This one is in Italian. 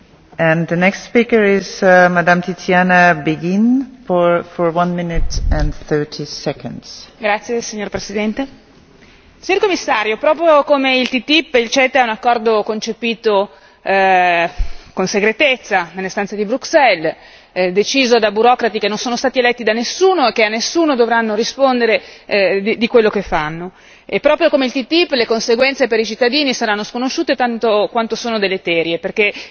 Signora Presidente, onorevoli colleghi, signor Commissario, proprio come il TTIP, il CETA è un accordo concepito con segretezza nelle stanze di Bruxelles, deciso da burocrati che non sono stati eletti da nessuno e che a nessuno dovranno rispondere di quello che fanno. E proprio come il TTIP, le conseguenze per i cittadini saranno sconosciute tanto quanto sono deleterie, perché in realtà